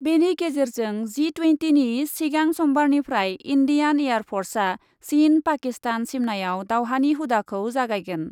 बेनि गेजेरजों जि टुयेन्टिनि सिगां समबारनिफ्राय इन्डियान एयार फर्सआ चिन पाकिस्तान सिमनायाव दावहानि हुदाखौ जागायगोन ।